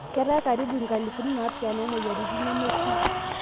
ketaae karibu inkalifuni napishana omoyiariti nemetii.